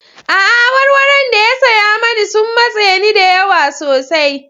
A'a, awarwaron da ya saya mani sun matse ni da yawa sosai.